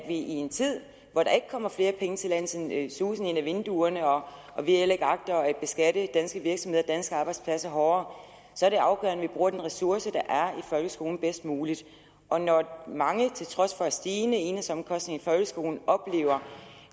i en tid hvor der ikke kommer flere penge til landet sådan susende ind ad vinduerne og hvor vi heller ikke agter at beskatte danske virksomheder og danske arbejdspladser hårdere bruger den ressource der er folkeskolen bedst muligt og når mange til trods for stigende enhedsomkostninger i folkeskolen oplever